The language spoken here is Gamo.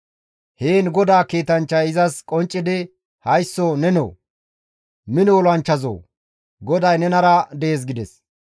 Heen GODAA kiitanchchay izas qonccidi, «Haysso nenoo, mino olanchchazoo! GODAY nenara dees» gides.